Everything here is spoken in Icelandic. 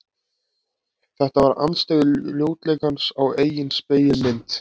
Þetta var andstyggð ljótleikans á eigin spegilmynd.